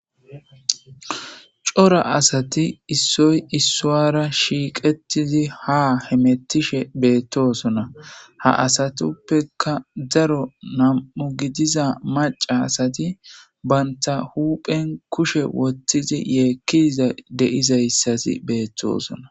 Cora asati issoy issuwara shiiqetizi ha hemettishe beettosona ha asatuppeka zaro nam'u gidiza maca asati banta huphen kushe wottizi yeekkiiza deizayssasi beettosona.